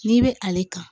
N'i bɛ ale kan